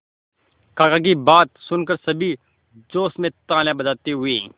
काका की बात सुनकर सभी जोश में तालियां बजाते हुए